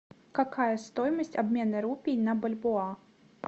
какая стоимость обмена рупий на бальбоа